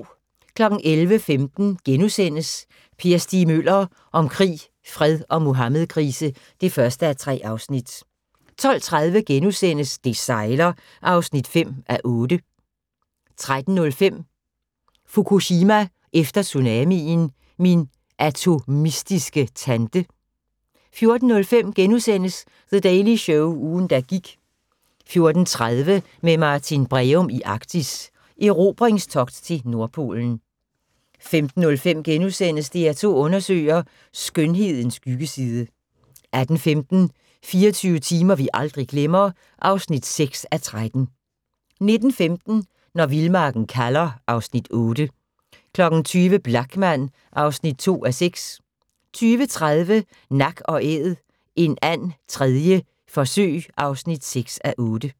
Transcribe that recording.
11:15: Per Stig Møller – om krig, fred og Muhammedkrise (1:3)* 12:30: Det sejler (5:8)* 13:05: Fukushima efter tsunamien – min atomistiske tante 14:05: The Daily Show - ugen, der gik * 14:30: Med Martin Breum i Arktis: Erobringstogt til Nordpolen 15:05: DR2 Undersøger: Skønhedens skyggeside * 18:15: 24 timer vi aldrig glemmer (6:13) 19:15: Når vildmarken kalder (Afs. 8) 20:00: Blachman (2:6) 20:30: Nak & Æd – en and 3. forsøg (6:8)